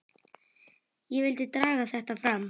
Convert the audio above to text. Ég vildi draga þetta fram.